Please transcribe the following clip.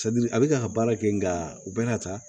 a bɛ ka baara kɛ nka u bɛna ta